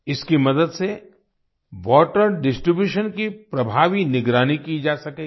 इसकी मदद से वाटर डिस्ट्रीब्यूशन की प्रभावी निगरानी की जा सकेगी